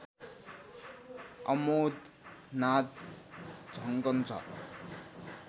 अमोद नाद झन्कन्छ